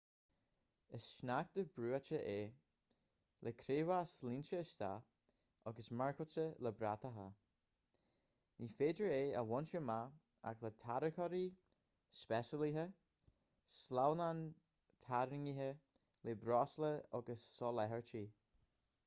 is sneachta brúite é le creabháis líonta isteach agus marcáilte le bratacha ní féidir é a bhaint amach ach le tarracóirí speisialaithe sleamhnáin tarraingthe le breosla agus soláthairtí